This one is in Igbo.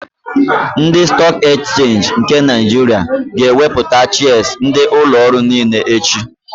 Ndị Stọọk Ekchenji nke Naịjiria ga-ewepụta shịas ndị ụlọorụ niile echi.